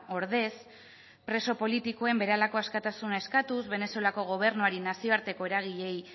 ordez preso politikoen berehalako askatasuna eskatuz venezuelako gobernuari nazioarteko eragileei